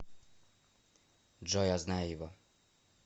джой я знаю его